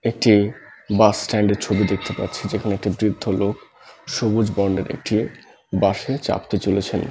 একটি bus stand -এর ছবি দেখতে পাচ্ছি যেখানে একটা বৃদ্ধ লোক সবুজ বর্ণের একটি বাস -এ চাপতে চলেছেন ।